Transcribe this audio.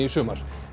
í sumar